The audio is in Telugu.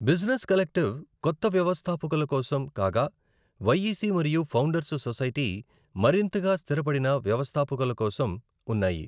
బిజినెస్ కలెక్టివ్ కొత్త వ్యవస్థాపకుల కోసం కాగా వైఈసి మరియు ఫౌండర్స్ సొసైటీ మరింతగా స్థిరపడిన వ్యవస్థాపకుల కోసం ఉన్నాయి.